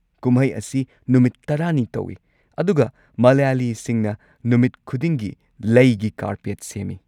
ꯀꯨꯝꯍꯩ ꯑꯁꯤ ꯅꯨꯃꯤꯠ ꯱꯰ꯅꯤ ꯇꯧꯏ ꯑꯗꯨꯒ ꯃꯂꯌꯥꯂꯤꯁꯤꯡꯅ ꯅꯨꯃꯤꯠ ꯈꯨꯗꯤꯡꯒꯤ ꯂꯩꯒꯤ ꯀꯥꯔꯄꯦꯠ ꯁꯦꯝꯃꯤ꯫